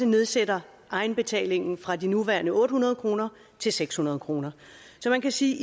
nedsætte egenbetalingen fra de nuværende otte hundrede kroner til seks hundrede kroner så man kan sige